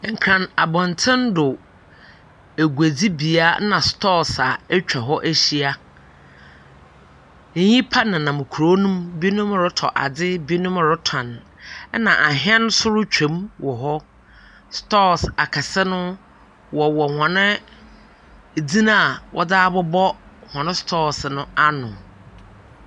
Nkran abɔnten do, aguadzibea na sotɔɔso atwa hɔ ahyia. Nnipa nenam kuro no mu, binom retɔ adze, binom retɔn, ɛnna ahɛn nso retwam wɔ hɔ. Stores akɛse no, wɔwɔ hɔn edzin a wɔdze abobɔ hɔn store no ano.